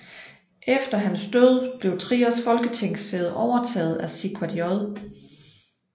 Efter hans død blev Triers folketingssæde overtaget af Sigvard J